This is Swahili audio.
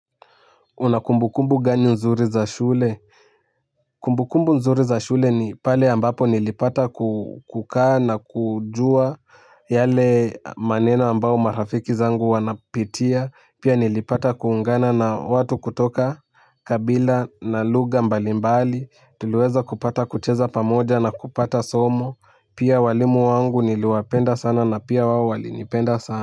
Unakumbu kumbu gani nzuri za shule? Kumbukumbu nzuri za shule ni pale ambapo nilipata kukaa na kujua yale maneno ambao marafiki zangu wanapitia. Pia nilipata kuungana na watu kutoka kabila na lugha mbalimbali. Tuliweza kupata kucheza pamoja na kupata somo. Pia walimu wangu nilwapenda sana na pia wao wali nipenda sana.